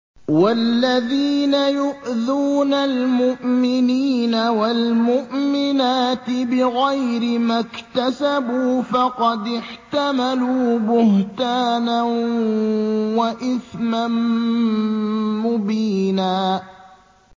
وَالَّذِينَ يُؤْذُونَ الْمُؤْمِنِينَ وَالْمُؤْمِنَاتِ بِغَيْرِ مَا اكْتَسَبُوا فَقَدِ احْتَمَلُوا بُهْتَانًا وَإِثْمًا مُّبِينًا